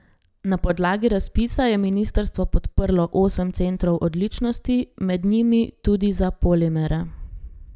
Na podlagi razpisa je ministrstvo podprlo osem centrov odličnosti, med njimi tudi za polimere.